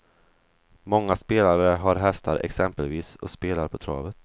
Många spelare har hästar exempelvis och spelar på travet.